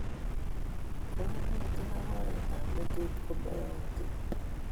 Koimutik ak oret ab letut konoiyotin